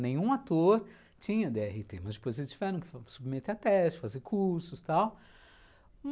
Nenhum ator tinha dê erre tê, mas depois eles tiveram que submeter a teste, fazer cursos, tal.